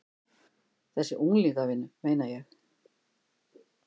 Þessa unglingavinnu, meina ég.